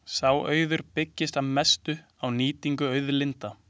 Sá auður byggðist að mestu á nýtingu auðlinda.